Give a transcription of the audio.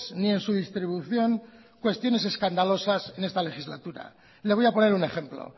ni en su distribución cuestiones escandalosas en esta legislatura le voy a poner un ejemplo